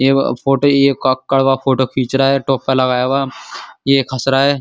यह वह फोटो ये फोटो खींच रहा है। टोपा लगया हुआ ये एक हस रहा है।